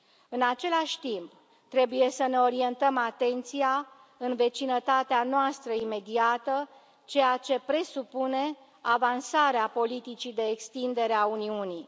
În același timp, trebuie să ne orientăm atenția în vecinătatea noastră imediată, ceea ce presupune avansarea politicii de extindere a Uniunii.